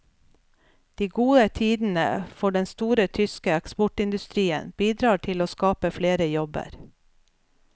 De gode tidene for den store tyske eksportindustrien bidrar til å skape flere jobber.